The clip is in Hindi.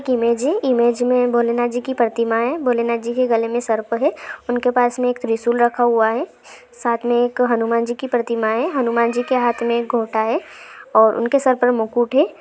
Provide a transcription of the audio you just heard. एक इमेज है इमेज मैं भोलेनाथ जी की प्रतिमा है भोलेनाथजी के गले मैं सर्प है उनके पास मैं एक त्रिशूल रखा हुआ है साथ मे एक हनुमान जी की प्रतिमा है हनुमानजी के हाथ मैं एक घोटा है और उनके सर पे मुकुट है।